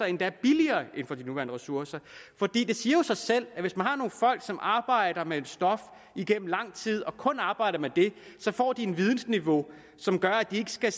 endda billigere i forhold til de nuværende ressourcer for det siger jo sig selv at hvis man har nogle folk som arbejder med et stof igennem lang tid og kun arbejder med det så får de et vidensniveau som gør at de ikke skal